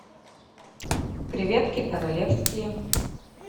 креветки королевские